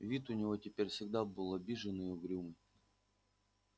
вид у него теперь всегда был обиженный и угрюмый